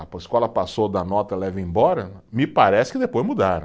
A, a escola passou da nota, leva embora, me parece que depois mudaram.